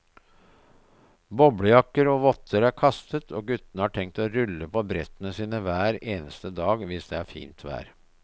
Boblejakker og votter er kastet, og guttene har tenkt å rulle på brettene sine hver eneste dag hvis det er fint vær.